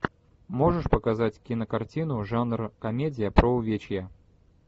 можешь показать кинокартину жанра комедия про увечья